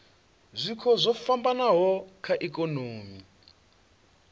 zwiko zwo fhambanaho kha ikonomi